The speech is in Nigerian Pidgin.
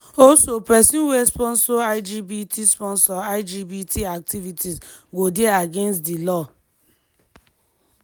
also pesin wey sponsor lgbt sponsor lgbt activities go dey against di law.